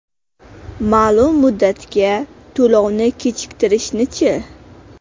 Ma’lum muddatga to‘lovni kechiktirishni-chi?